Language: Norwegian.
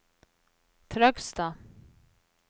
Trøgstad